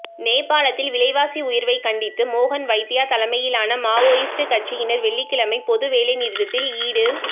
நேபாளத்தில் விலைவாசி உயர்வைக் கண்டித்து மோகன் வைத்யா தலைமையிலான மாவோயிஸ்ட் கட்சியினர் வெள்ளிக்கிழமை பொது வேலைநிறுத்தத்தில் ஈடு